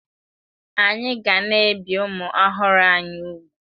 Anyị ga na-ebi ụmụ ọhụrụ anyị úgwù.